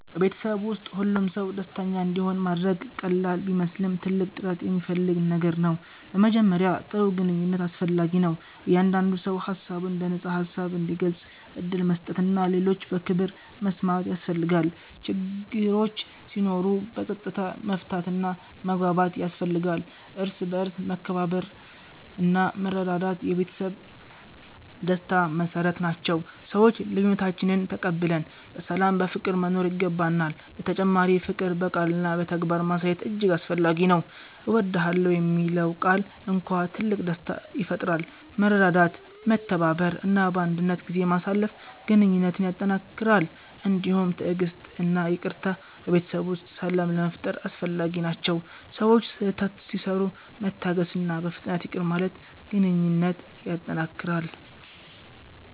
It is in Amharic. በቤተሰብ ውስጥ ሁሉም ሰው ደስተኛ እንዲሆን ማድረግ ቀላል ቢመስልም ትልቅ ጥረት የሚፈልግ ነገር ነው። በመጀመሪያ ጥሩ ግንኙነት አስፈላጊ ነው፤ እያንዳንዱ ሰው ሀሳቡን በነፃ ሀሳብ እንዲገልጽ ዕድል መስጠት እና ሌሎችን በክብር መስማት ያስፈልጋል። ችግሮች ሲኖሩ በፀጥታ መፍታት እና መግባባት ያስፈልጋል፤ እርስ በርስ መከባበርና መረዳት የቤተሰብ ደስታ መሰረት ናቸው፤ ሰዎች ልዬነታችንን ተቀብለን በሰላም በፍቅር መኖር ይገባናል። በተጨማሪ ፍቅር በቃልና በተግባር ማሳየት እጅግ አስፈላጊ ነው። እወድዳለሁ የሚለው ቃል እንኳን ትልቅ ደስታ ይፈጥራል። መረዳዳት፤ መተባበር እና ባንድነት ጊዜ ማሳለፍ ግንኙነትን ያጠነክራል። እንዲሁም ትዕግሥት እና ይቅርታ በቤተሰብ ውስጥ ሰላም ለመፋጠር አስፈላጊ ናቸው፤ ሰዎች ስህተት ሲሰሩ መታገስእና በፍጥነት ይቅር ማለት ግንኘነት ያጠነክራል።